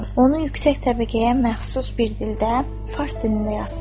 Onu yüksək təbəqəyə məxsus bir dildə, fars dilində yazsın.